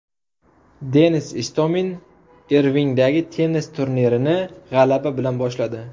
Denis Istomin Irvingdagi tennis turnirini g‘alaba bilan boshladi.